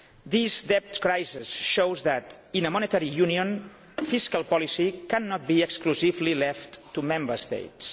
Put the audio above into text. euro. This debt crisis shows that in a monetary union fiscal policy cannot be exclusively left to Member States.